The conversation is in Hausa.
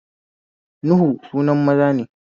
Nuhu sunan maza ne